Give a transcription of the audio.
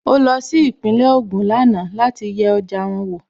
Ó lọ sí Ìpínlẹ̀ Ògùn lánàá láti yẹ ọjà wọn wò